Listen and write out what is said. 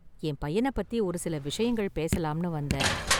என் பையன பத்தி ஒரு சில விஷயங்கள் பேசலாம்னு வந்தேன்.